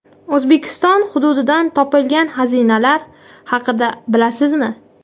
O‘zbekiston hududidan topilgan xazinalar haqida bilasizmi?.